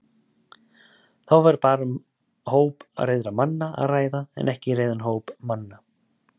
Þá væri bara um hóp reiðra manna að ræða en ekki reiðan hóp manna.